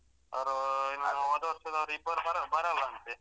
ಅವರು ಇನ್ನು ಹೋದ್ವರ್ಷದವರು ಇಬ್ಬರು ಬರಲ್ಲ ಅಂತೆ.